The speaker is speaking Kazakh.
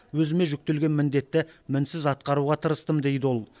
өзіме жүктелген міндетті мінсіз атқаруға тырыстым дейді ол